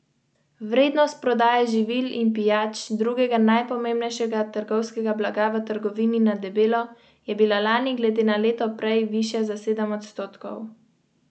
Tiskovna predstavnica litovskega obrambnega ministrstva je sporočila, da ministrstvo lažno novico obravnava kot provokacijo proti Natu in njegovim naporom za povečanje varnosti na vzhodu Evrope.